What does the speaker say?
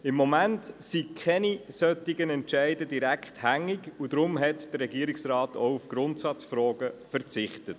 Da zurzeit keine solchen Entscheidungen hängig sind, hat der Regierungsrat auf Grundsatzfragen verzichtet.